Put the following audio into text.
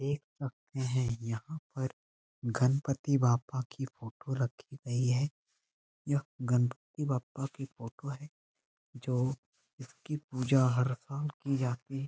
देख सकते है यहाँ पर गणपति बाप्पा की फोटो रखी गयी है। यह गणपति बप्पा की फोटो है जो इसकी पूजा हर रोज की जाती है।